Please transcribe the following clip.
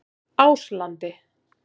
Áslandi